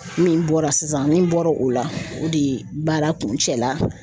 Min bɔra sisan nin bɔra o la o de ye baara kuncɛla